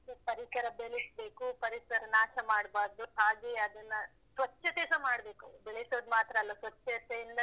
ಅದೇ ಪರಿಸರ ಬೆಳೆಸ್ಬೇಕು, ಪರಿಸರ ನಾಶ ಮಾಡ್ಬಾರ್ದು. ಹಾಗೆ ಅದನ್ನ ಸ್ವಚ್ಛತೆಸ ಮಾಡಬೇಕು. ಬೆಳೆಸೋದು ಮಾತ್ರ ಅಲ್ಲ ಸ್ವಚ್ಚತೆಯಿಂದನೂ,